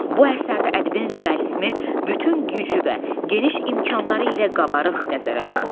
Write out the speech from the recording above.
Bu əsərdə ədibin realizmi bütün gücü və geniş imkanları ilə qabarıq nəzərə çarpır.